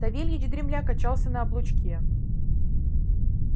савельич дремля качался на облучке